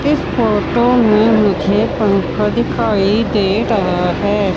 इस फोटो में मुझे पंखा दिखाई दे रहा है।